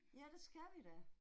Ja det skal vi da